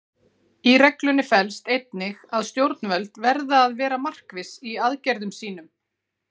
Í reglunni felst einnig að stjórnvöld verða að vera markviss í aðgerðum sínum.